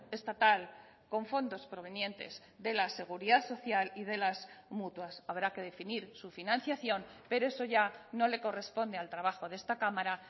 estatal con fondos provenientes de la seguridad social y de las mutuas habrá que definir su financiación pero eso ya no le corresponde al trabajo de esta cámara